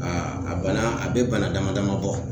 Aa a bana a be bana dama dama bɔ